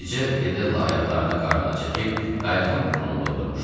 Bircə Fedella ayaqlarını qarnına çəkib qayıqın burnunda oturmuşdu.